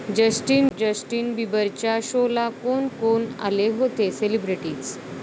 Justin बिबरच्या शोला कोण कोण आले होते सेलिब्रिटीज्?